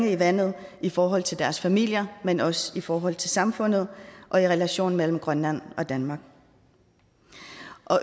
i vandet i forhold til deres familier men også i forhold til samfundet og i relationen mellem grønland og danmark